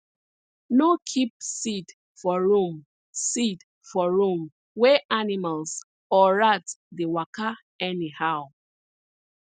no keep seed for room seed for room wey animals or rat dey waka anyhow